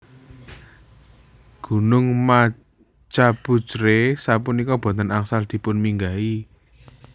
Gunung Machhapuchhre sapunika boten angsal dipunminggahi